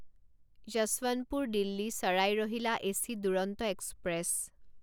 য়েশৱন্তপুৰ দিল্লী চাৰাই ৰহিলা AC Duronto express